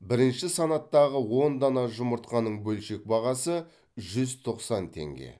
бірінші санаттағы он дана жұмыртқаның бөлшек бағасы жүз тоқсан теңге